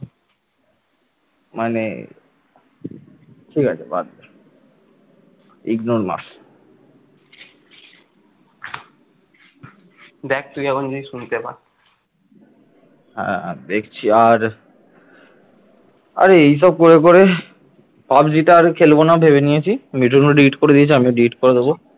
আর এইসব করে পড়ে পাবজি টার খেলবো না ভেবে নিয়েছি মিঠুন ও delete করে দিয়েছে আমিও delete করে দেবো।